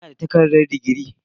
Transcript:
Ina da takardar digiri.